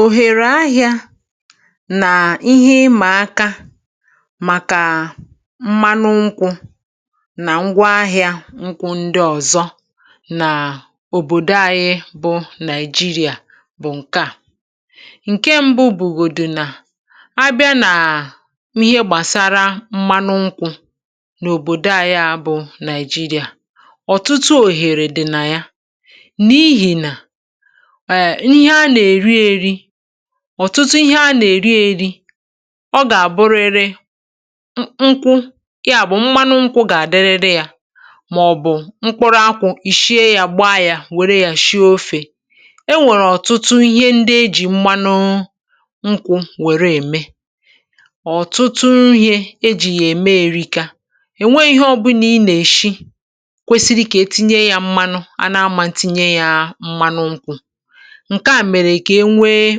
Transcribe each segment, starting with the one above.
Òhèrè na ihe ịma aka, òhèrè na ihe ịma aka, maka mmanụ nkwụ na ihe ndị ọzọ si n’osisi nkwụ, n’ọ̀bòdò anyị, Naịjíríà, bụ ndị a. Nke mbù, mgbe ọ bịara n’ihe gbasara mmanụ nkwụ n’Naịjíríà, mgbe ọ bịara n’ihe gbasara mmanụ nkwụ n’Naịjíríà, e nwere òhèrè dị ukwuu, òhèrè dị ukwuu, n’ihi na a na-eri ya nke ukwuu, a na-eri ya nke ukwuu. Ọ̀tụtụ ihe ndị mmadụ na-eri, ọ̀tụtụ ihe ndị mmadụ na-eri, chọrọ mmanụ nkwụ. Mmanụ nkwụ nwere ike iji ya dị ka ọ dị, mmanụ nkwụ nwere ike iji ya dị ka ọ dị, maọ̀bụ̀ e wepụta mkpụrụ akwụ, e wepụta mkpụrụ akwụ, jiri ya sie ofe. E nwekwara ọtụtụ ihe, e nwekwara ọtụtụ ihe, a na-eme site na mmanụ nkwụ, ma ọ bụ ihe dị mkpa, ihe dị mkpa, n’ihe fọrọ nke nta ka ọ bụrụ ụdị nri niile, n’ihe fọrọ nke nta ka ọ bụrụ ụdị nri niile. Ọ̀chịchọ dị elu maka mmanụ nkwụ, ọ̀chịchọ dị elu maka mmanụ nkwụ, na-emepụta òhèrè ahịa siri ike, na-emepụta òhèrè ahịa siri ike. N’ihi na a na-achọ mmanụ nkwụ oge niile maka esi nri, a na-achọ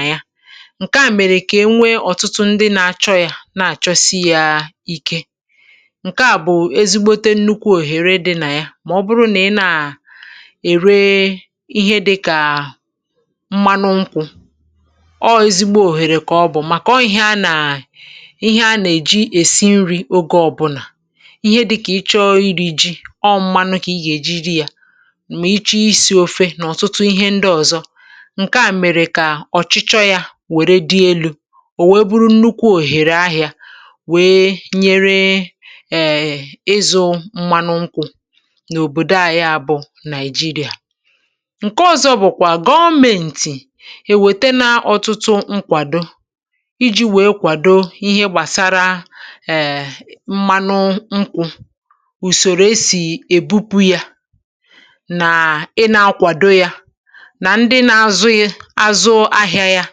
mmanụ nkwụ oge niile maka esi nri, ọ̀chịchọ ya na-anọgide elu, na-anọgide elu, nke a na-eme ka ọ bụrụ nnukwu òhèrè, nnukwu òhèrè, maka ndị na-ere ya. N’Naịjíríà, ahịa mmanụ nkwụ siri ike, ahịa mmanụ nkwụ siri ike, n’ihi na a na-achọ ya mgbe niile, a na-achọ ya mgbe niile,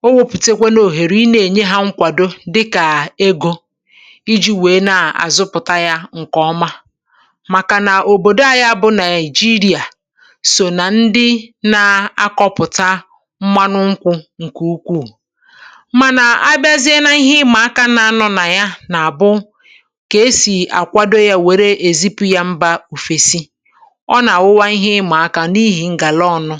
maọ̀bụ̀ maka ji, maka ofe, maọ̀bụ̀ nri ndị ọzọ. Ọ̀chịchọ dị elu a, ọ̀chịchọ dị elu a, na-eme ka ahịa mmanụ nkwụ bụrụ azụmahịa bara uru, azụmahịa bara uru, ma mekwa òhèrè bara ụba, òhèrè bara ụba. Òhèrè ọzọ, òhèrè ọzọ, bụ̀ na gọ̀menti na-enye nkwàdo, gọ̀menti na-enye nkwàdo, iji kwalite mmepụta mmanụ nkwụ. Nke a gụnyere usoro mbupụ, usoro mbupụ, yana ohere ahịa, ohere ahịa. Nkwàdo a na-abụkarị site n’inyere ego, site n’inyere ego, iji nyere ndị ọrụ ugbò aka ibawanye mmepụta ha, ibawanye mmepụta ha, ma gbasaa ahịa ha, ma gbasaa ahịa ha, ebe Naịjíríà bụ otu n’ime ndị bụ isi na-emepụta, otu n’ime ndị bụ isi na-emepụta, mmanụ nkwụ. um Ma, ihe ịma aka, ihe ịma aka, gụnyere otú e si akwàdo mmanụ nkwụ nke ọma, otú e si akwàdo mmanụ nkwụ nke ọma, iji ruo ogo mbupụ mba ọzọ. Nsogbu na-apụta, nsogbu na-apụta, n’ihe gbasara ogo akụrụngwa eji, ogo akụrụngwa eji, yana n’ihe gbasara njem na ibufe ya, n’ihe gbasara njem na ibufe ya. Ihe ịma aka ndị a, ihe ịma aka ndị a, na-emetụta ikike, na-emetụta ikike, ibupụ mmanụ nkwụ nke ọma, ibupụ mmanụ nkwụ nke ọma, n’ụwa ọzọ.